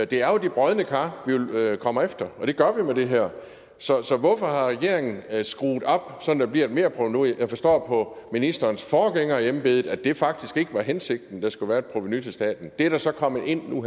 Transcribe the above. det er jo de brodne kar vi vil komme efter og det gør vi med det her så så hvorfor har regeringen skrue det op sådan at der bliver et merprovenu jeg forstår på ministerens forgænger i embedet at det faktisk ikke var hensigten at der skulle være et provenu til staten det er der så kommet ind nu